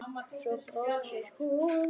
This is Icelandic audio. Svo brosir hún.